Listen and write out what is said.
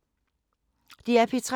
DR P3